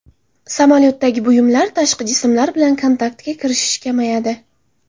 Samolyotdagi buyumlar, tashqi jismlar bilan kontaktga kirishish kamayadi.